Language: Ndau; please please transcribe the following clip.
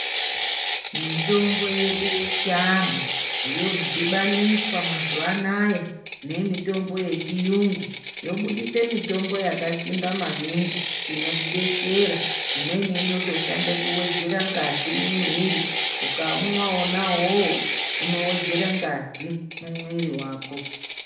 Mitombo yedu yechianhu, yodhibaniswa mazuvaanaya nemitombo yechiyungu, yobudisa mitombo yakasimba maningi inotidetsera ,imweni inotoshanda kuwedzera ngazi mumwiri, ukaumwa wona uwowo, unowedzera ngazi mumwiri wako.